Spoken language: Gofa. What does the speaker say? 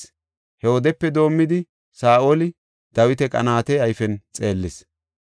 He wodepe doomidi Saa7oli Dawita qanaate ayfen xeellees.